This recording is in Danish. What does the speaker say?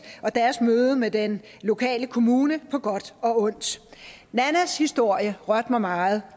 og deres møde med den lokale kommune på godt og ondt nannas historie rørte mig meget